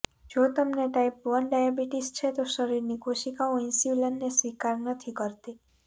જો તમને type one diabetes છે તો શરીરની કોશિકાઓ ઈન્સુલિનને સ્વીકાર નથી કરતી